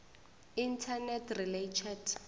internet relay chat